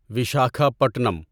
Vishakha Patnam